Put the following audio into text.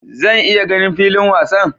Zan iya ganin filin wasan?